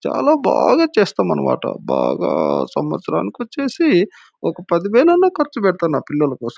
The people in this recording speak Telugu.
చాల బాగా చేస్తామన్నమాట. బాగా సవత్సరానికొచ్చేసి ఒక పది వేలు అయిన ఖర్చుపెడతాను నా పిల్లల కోసం.